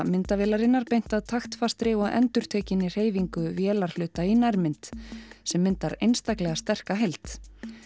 myndavélarinnar beint að taktfastri og endurtekinni hreyfingu vélarhluta í nærmynd sem myndar einstaklega sterka heild